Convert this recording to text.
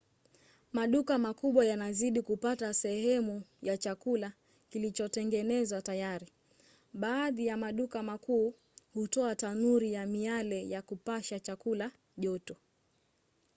maduka makubwa yanazidi kupata seehemu ya chakula kilichotengenezwa tayari. baadhi ya maduka makuu hutoa tanuri ya miale ya kupasha chakula joto